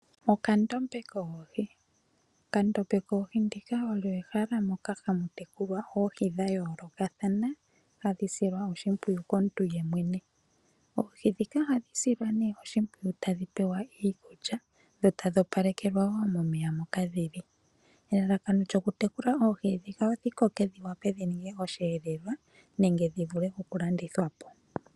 Okadhiya koohi. Okadhiya koohi ndika olyo ehala moka hamu tekulwa oohi dha yoolokathana ,hadhi silwa oshimpwiyu komuntu yemwene. Oohi ndhika ohadhi silwa nee oshipwiyu tadhi pewa iikulya dho tadhi opalekelwa woo momeya moka dhili. Elalakano lyoku tekula oohi ndhika odhi koke dhi wape dhi ninge osheelelwa nenge dhi vule okulandithwa po.